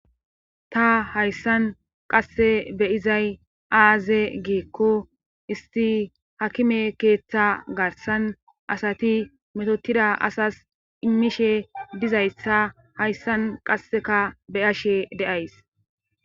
ta hayssan qasse beyizay aaze geekko isti hakime keeththa garsan asati metotida asas immishe dizayssa hayssan qasseka beyashe deays